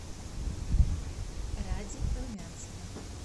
ради румянцева